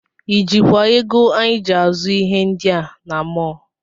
I jikwa ego anyị ji azụ ihe ndị a na mọl?